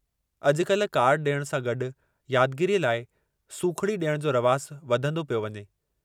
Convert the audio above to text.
अॼुकल्ह कार्ड ॾियण सां गॾु यादगिरीअ लाइ सूखड़ी ॾियण जो रवाजु वधंदो पियो वञे।